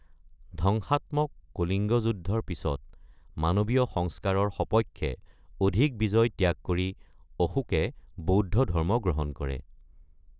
ধ্বংসাত্মক কলিংগ যুদ্ধৰ পিছত মানৱীয় সংস্কাৰৰ সপক্ষে অধিক বিজয় ত্যাগ কৰি অশোকে বৌদ্ধ ধৰ্ম গ্ৰহণ কৰে।